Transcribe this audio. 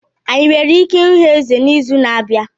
Anyị nwere ike ịhụ Eze n'izu na-abịa?